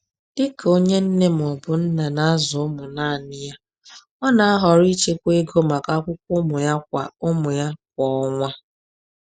Dị ka onye nne/nna na-azụ ụmụ naanị ya, ọ na-ahọrọ ichekwa ego maka akwụkwọ ụmụ ya kwa ụmụ ya kwa ọnwa.